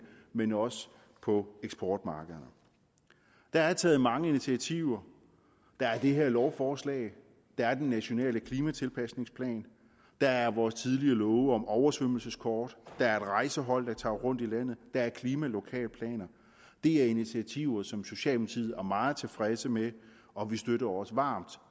men også på eksportmarkederne der er taget mange initiativer der er det her lovforslag der er den nationale klimatilpasningsplan der er vores tidligere love om oversvømmelseskort der er et rejsehold der tager rundt i landet og der er klimalokalplaner det er initiativer som socialdemokratiet er meget tilfredse med og vi støtter også varmt